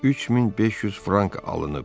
3500 frank alınıb.